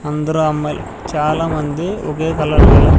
అందరూ అమ్మాయిలు చాలామంది ఒకే కలర్ గల--